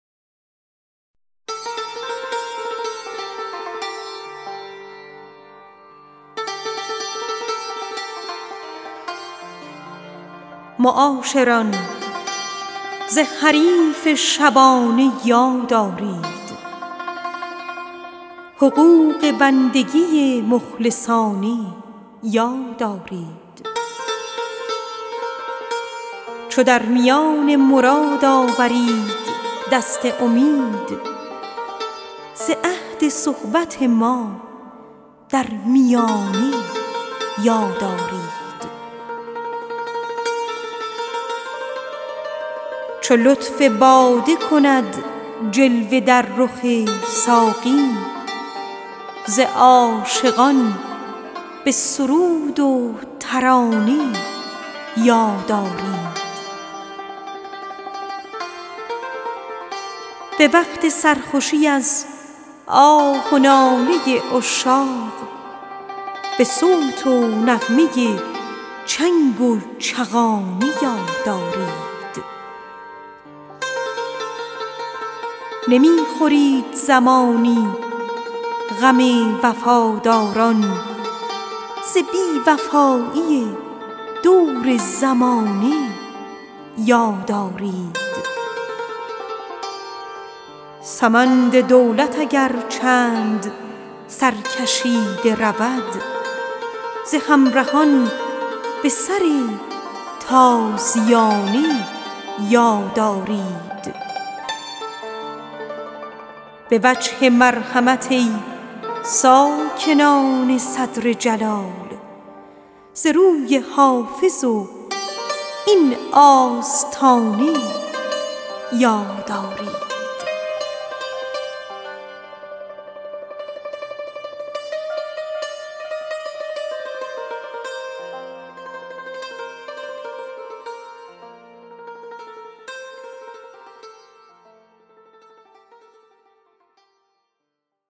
معاشران ز حریف شبانه یاد آرید حقوق بندگی مخلصانه یاد آرید به وقت سرخوشی از آه و ناله عشاق به صوت و نغمه چنگ و چغانه یاد آرید چو لطف باده کند جلوه در رخ ساقی ز عاشقان به سرود و ترانه یاد آرید چو در میان مراد آورید دست امید ز عهد صحبت ما در میانه یاد آرید سمند دولت اگر چند سرکشیده رود ز همرهان به سر تازیانه یاد آرید نمی خورید زمانی غم وفاداران ز بی وفایی دور زمانه یاد آرید به وجه مرحمت ای ساکنان صدر جلال ز روی حافظ و این آستانه یاد آرید